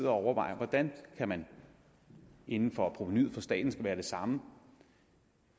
overvejer hvordan man man inden for provenuet som for staten skal være det samme